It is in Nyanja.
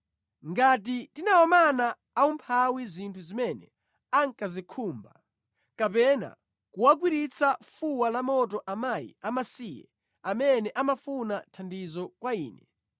“Ngati ndinawamana aumphawi zinthu zimene ankazikhumba, kapena kuwagwiritsa fuwa lamoto akazi amasiye amene amafuna thandizo kwa ine,